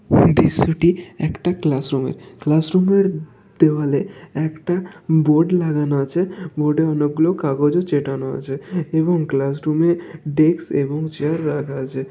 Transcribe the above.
দৃশ্যটি একটা ক্লাসরুমের ক্লাসরুমের দেওয়ালে একটা বোর্ড লাগানো আছে বোর্ডে অনেকগুলো কাগজ চেটানো আছে এবং ক্লাসরুমে ডেস্ক এবং চেয়ার রাখা আছে।